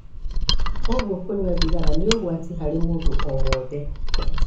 Kwoguo, kũnyua thigara ni ũgwati harĩ mũndũ o wothe.